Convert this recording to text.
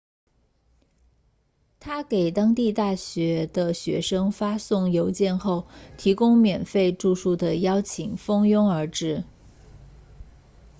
他给当地大学的学生发送邮件后提供免费住宿的邀请蜂拥而至